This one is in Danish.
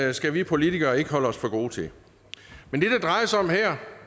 det skal vi politikere ikke holde os for gode til men det